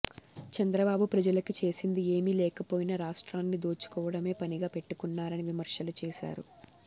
చంద్రబాబు ప్రజలకి చేసింది ఏమీ లేకపోయినా రాష్ట్రాన్ని దోచుకోవడమే పనిగా పెట్టుకున్నారని విమర్శలు చేసారు